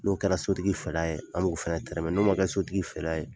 N'o kɛra sotigi fɛla ye an b'o fana tɛrɛmɛ n'o ma kɛ sotigi fɛla ye